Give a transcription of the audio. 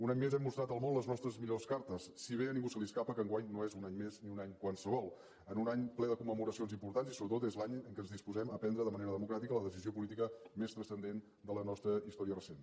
un any més hem mostrat al món les nostres millors cartes si bé a ningú se li escapa que enguany no és un any més ni un any qualsevol en un any ple de commemoracions importants i sobretot és l’any en què ens disposem a prendre de manera democràtica la decisió política més transcendent de la nostra història recent